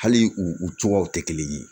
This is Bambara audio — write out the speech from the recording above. Hali u u cogoyaw tɛ kelen ye